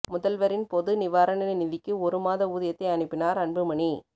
முதல்வரின் பொது நிவாரண நிதிக்கு ஒரு மாத ஊதியத்தை அனுப்பினார் அன்புமணி